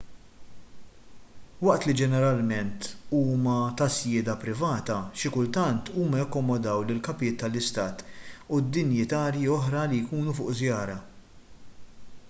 waqt li ġeneralment huma ta' sjieda privata xi kultant huma jakkomodaw lill-kapijiet tal-istat u dinjitjarji oħra li jkunu fuq żjara